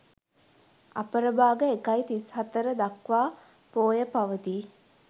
අපරභාග 01.34 දක්වා පෝය පවතී.